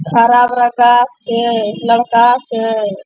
हरा-भरा गाछ छे लड़का छै।